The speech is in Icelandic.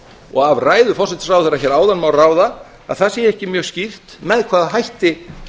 og af ræðu forsætisráðherra má ráða að það sé ekki mjög skýrt með hvaða hætti